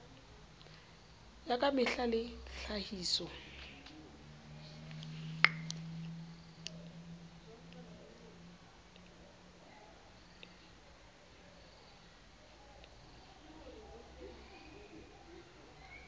ya ka mehla le tlhahiso